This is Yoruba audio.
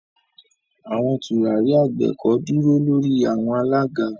Awọn turari agbeko duro lori awọn alaga.